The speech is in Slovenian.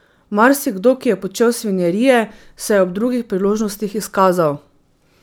Marsikdo, ki je počel svinjarije, se je ob drugih priložnostih izkazal.